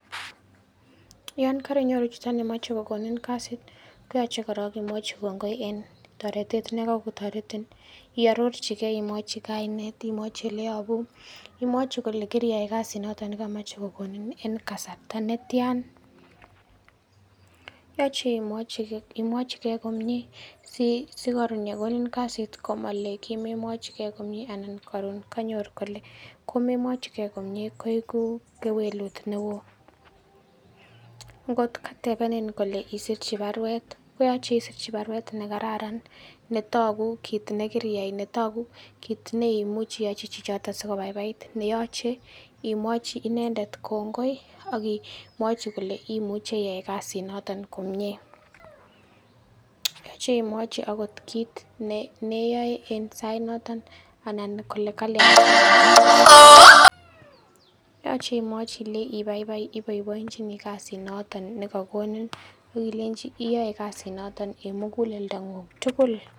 Yon korinyoru chito nemoche kokonin kasit koyoche koron imwochi kongoi en toretet nekokotoretin. Iororjigei imwochi kainet, imwochi ileyobu, imwochi kole kiriyai kasit nekomoche kokonin en kasarta netian. Yoche imwochigei komie sikoron kokonin kasit komole kimemwochikei komie anan koron kole kimemwochikei komie koigu kewelut neo. Ngot katebenen kole isrirchi baruet koyoche isirirchi baruet nekararan netogu kit nekiriyai netogu kit neimuchi iyochi chichoton sikobaibait. Neyoche imwoe inendet kongoi ok ii imwochi kole imuche iyochi kasinoton komie. Yoche imwochi ogot kit ne neyoe en sainoton anan kole kalian. Yoche imwochi ilenji ibaibai iboiboenjini kasit noton nekokonin ak ilenji iyoe kasinoton en muguleldang'ung' tugul.